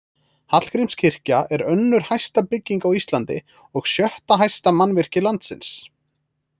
Hallgrímskirkja er önnur hæsta bygging á Íslandi og sjötta hæsta mannvirki landsins.